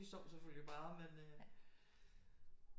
De sov selvfølgelig bare men øh